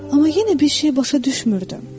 Amma yenə bir şey başa düşmürdüm.